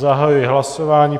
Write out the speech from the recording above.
Zahajuji hlasování.